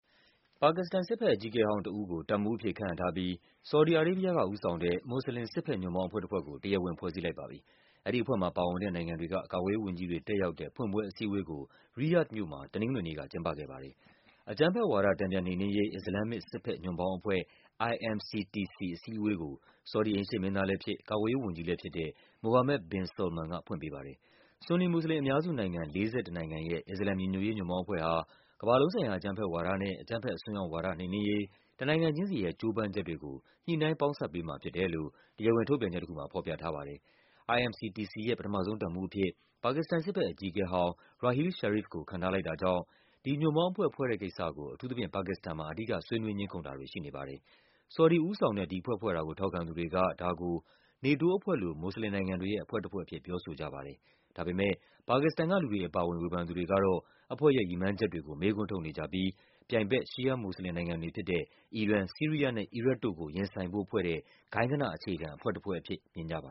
ပါကစ္စတန်စစ်ဘက်အကြီးအကဲဟောင်းတဦးကို တပ်မှူးအဖြစ် ခန့်အပ်ထားပြီး ဆော်ဒီအာရေးဘီးယားက ဦးဆောင်တဲ့ မွတ်ဆလင် စစ်ဘက်ညွန့်ပေါင်းအဖွဲ့တဖွဲ့ကို တရားဝင် ဖွဲ့စည်းလိုက်ပါပြီ။ အဲဒီအဖွဲ့မှာပါဝင်တဲ့ နိုင်ငံတွေက ကာကွယ်ရေးဝန်ကြီး တွေ တက်ရောက်တဲ့ ဖွင့်ပွဲအစည်းအဝေးကို ရီယာ့ဒ်မြို့မှာ တနင်္ဂနွေနေ့က ကျင်းပခဲ့ပါတယ်။ အကြမ်းဖက်ဝါဒ တန်ပြန်နှိမ်နင်းရေး အစ္စလာမ်မစ် စစ်ဘက်ညွန့်ပေါင်းအဖွဲ့ IMCTC အစည်းအဝေးကို ဆော်ဒီ အိမ်ရှေ့မင်းသား လဲဖြစ်၊ ကာကွယ်ရေးဝန်ကြီးလဲဖြစ်တဲ့ Mohammed bin Salman က ဖွင့်ပေးပါတယ်။ ဆွန်နီမွတ်ဆလင်အများစုနိုင်ငံ ၄၁ နိုင်ငံရဲ့ အစ္စလာမ်ညီညွတ်ရေးညွန့်ပေါင်းအဖွဲ့ဟာ ကမ္ဘာလုံးဆိုင်ရာ အကြမ်းဖက်ဝါဒနဲ့ အကြမ်း ဖက်အစွန်းရောက်ဝါဒ နှိမ်နင်းရေး တနိုင်ငံချင်းစီရဲ့ ကြိုးပမ်းချက်တွေကို ညှိနှိုင်းပေါင်းစပ်ပေးမှာဖြစ်တယ်လို့ တရားဝင် ထုတ်ပြန် ချက်တခုမှာ ဖော်ပြထားပါတယ်။ IMCTC ရဲ့ ပထမဆုံးတပ်မှူးအဖြစ် ပါကစ္စတန် စစ်ဘက်အကြီးအကဲဟောင်း Raheel Sharif ကို ခန့်ထားလိုက်တာကြောင့် ဒီ ညွန့်ပေါင်းအဖွဲ့ ဖွဲ့တဲ့ကိစ္စကို အထူးသဖြင့် ပါကစ္စတန်မှာ အဓိက ဆွေးနွေးငြင်းခုန်တာတွေ ရှိနေပါတယ်။ ဆော်ဒီဦးဆောင်တဲ့ ဒီအဖွဲ့ဖွဲ့တာကို ထောက်ခံသူတွေက ဒါကို NATO အဖွဲ့လို မွတ်ဆလင်နိုင်ငံတွေရဲ့အဖွဲ့တဖွဲ့အဖြစ် ပြောဆိုကြ ပါတယ်။ ဒါပေမဲ့ ပါကစ္စတန်ကလူတွေအပါအဝင် ဝေဖန်သူတွေကတော့ အဖွဲ့ရဲ့ရည်မှန်းချက်တွေကို မေးခွန်းထုတ်နေကြပြီး ပြိုင်ဘက် ရှီးယားမွတ်ဆလင်နိုင်ငံတွေဖြစ်တဲ့ အီရန်၊ ဆီးရီးယားနဲ့ အီရတ်တို့ကို ရင်ဆိုင်ဖို့ဖွဲ့တဲ့ ဂိုဏ်းဂနအခြေခံ အဖွဲ့တဖွဲ့အဖြစ် မြင်ကြပါ